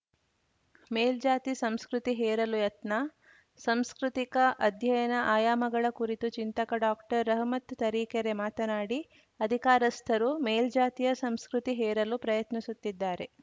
ಮೇಲ್ಜಾತಿ ಸಂಸ್ಕೃತಿ ಹೇರಲು ಯತ್ನ ಸಂಸ್ಕೃತಿಕ ಅಧ್ಯಯನ ಆಯಾಮಗಳ ಕುರಿತು ಚಿಂತಕ ಡಾಕ್ಟರ್ರಹಮತ್‌ ತರೀಕೆರೆ ಮಾತನಾಡಿ ಅಧಿಕಾರಸ್ಥರು ಮೇಲ್ಜಾತಿಯ ಸಂಸ್ಕೃತಿ ಹೇರಲು ಪ್ರಯತ್ನಿಸುತ್ತಿದ್ದಾರೆ